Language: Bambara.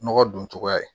Nɔgɔ dun cogoya ye